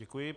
Děkuji.